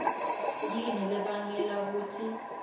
yini lebangela kutsi